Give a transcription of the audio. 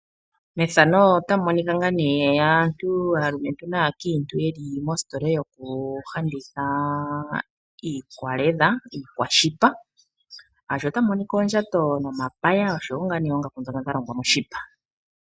Mpaka ota pu monika aantu, aalumentu naakiintu yeli mositola yokulanditha iikwaledha, iikwashipa, shaashi otamu monika oondjato nomapaya ,oongaku dhoka dha longwa moshipa .